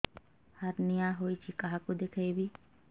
hernia ହୋଇଛି କାହାକୁ ଦେଖେଇବି